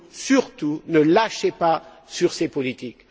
Surtout ne lâchez pas sur ces politiques!